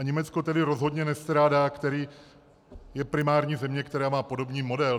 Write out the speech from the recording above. A Německo tedy rozhodně nestrádá, je to primární země, která má podobný model.